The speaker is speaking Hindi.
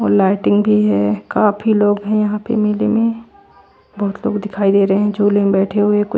और लाइटिंग भी है काफी लोग हैं यहां पे मेले में बहुत लोग दिखाई दे रहे है झूले में बैठे हुए कु --